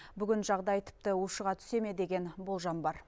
бүгін жағдай тіпті ұшыға түсе ме деген болжам бар